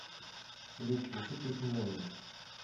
салют включи песню молния